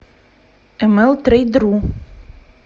млтрейдру